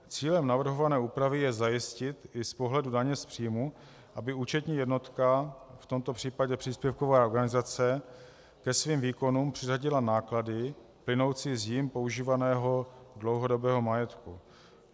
Cílem navrhované úpravy je zajistit i z pohledu daně z příjmu, aby účetní jednotka, v tomto případě příspěvková organizace, ke svým výkonům přiřadila náklady plynoucí z jí používaného dlouhodobého majetku.